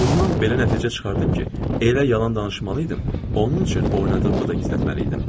Bundan belə nəticə çıxardım ki, elə yalan danışmalıydım, onun üçün oynadığımı da gizlətməliydim.